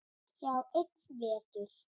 Já, einn vetur.